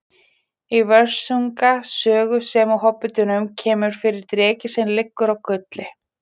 Í Völsunga sögu sem og Hobbitanum kemur fyrir dreki sem liggur á gulli.